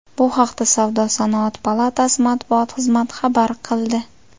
Bu haqda Savdo-sanoat palatasi matbuot xizmati xabar qildi.